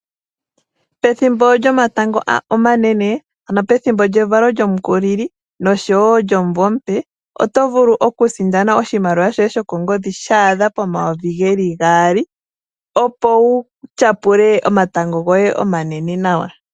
Pethimbo lyomatango omanene, ano pethimbo lyevalo lyOmukulili osho wo omumvo omupe, oto vulu okusindana oshimaliwa shoye shokongodhi sha adha pomayovi gaali, opo wu tyapule omatango omanene nawa.